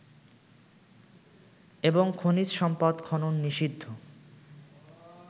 এবং খনিজ সম্পদ খনন নিষিদ্ধ